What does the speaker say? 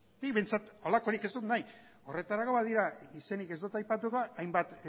nik behintzat halakorik ez dut nahi horretarako badira izenik ez dut aipatuko hainbat